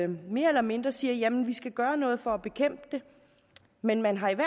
mere eller mindre siger at jamen vi skal gøre noget for at bekæmpe det men man har i